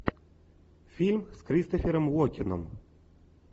фильм с кристофером уокеном